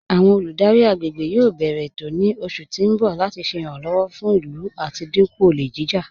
Awọn olùdárí agbègbè yóò bẹ̀rẹ̀ ètò ní oṣù tí n bọ̀ láti ṣè iràǹlọ́wọ̀ fún ilú láti dínkú ọ̀lẹ̀ jijá.